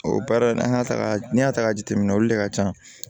O baara in an y'a taga n'i y'a ta k'a jateminɛ olu de ka ca